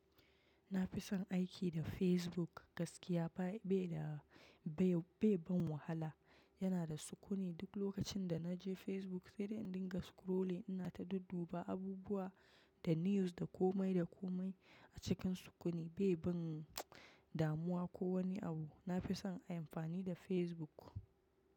Na fi son aiki da Facebook gaskiya ba, bai da, bai, bai ban wahala. Yana da sukuni duk lokacin da na je Facebook sai dai in dinga scrolling. Ina ta dudduba abubuwa da news da komai da komai a cikin sukuni bai ban damuwa ko wani abu. Na fi son amfani da Facebook.